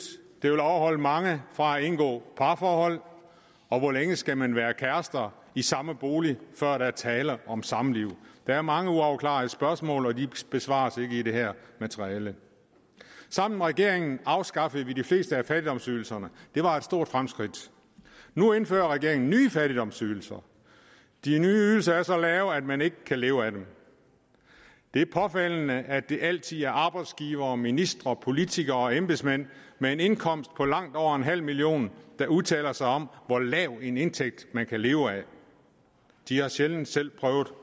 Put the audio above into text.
det vil afholde mange fra at indgå parforhold og hvor længe skal man være kærester i samme bolig før der er tale om samliv der er mange uafklarede spørgsmål og de besvares ikke i det her materiale sammen med regeringen afskaffede vi de fleste af fattigdomsydelserne det var stort fremskridt nu indfører regeringen nye fattigdomsydelser de nye ydelser er så lave at man ikke kan leve af dem det er påfaldende at det altid er arbejdsgivere ministre politikere og embedsmænd med en indkomst på langt over en halv million der udtaler sig om hvor lav en indtægt man kan leve af de har sjældent selv prøvet